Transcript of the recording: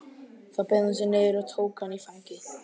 Þá beygði hún sig niður og tók hann í fangið.